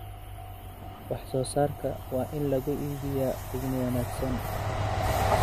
Wax soo saarka waa in lagu iibiyaa qiimo wanaagsan.